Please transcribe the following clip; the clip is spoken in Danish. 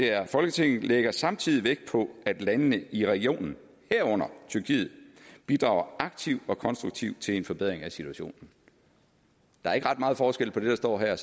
er folketinget lægger samtidig vægt på at landene i regionen herunder tyrkiet bidrager aktivt og konstruktivt til en forbedring af situationen der er ikke ret meget forskel på det der står her